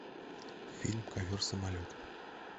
фильм ковер самолет